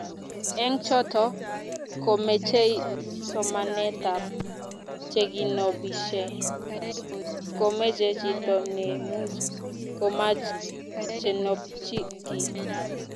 eng choto ,komechei somanetab cheginobishe komeche chito nemuch komach kenopchi kiiy